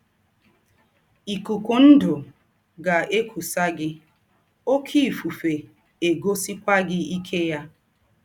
Ìkùkù̄ ndū̄ gà - èkùsà gị, òké ìfùfè ègòsịkwà gị íké yà.